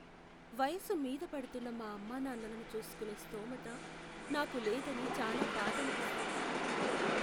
వయసు మీద పడుతున్న మా అమ్మానాన్నలను చూసుకునే స్థోమత నాకు లేదని చాలా బాధనిపిస్తుంది.